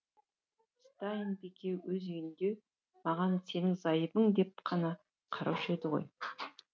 стайн бике өз үйінде маған сенің зайыбың деп қана қараушы еді ғой